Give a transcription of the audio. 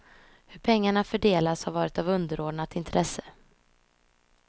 Hur pengarna fördelas har varit av underordnat intresse.